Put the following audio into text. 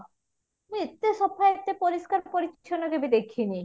ଏତେ ସଫା ଏତେ ପରିଷ୍କାର ପରିଚ୍ଛନ କେବେ ଦେଖିନି